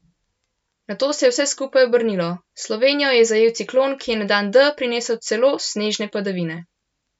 Nato se je vse skupaj obrnilo, Slovenijo je zajel ciklon, ki je na dan D prinesel celo snežne padavine.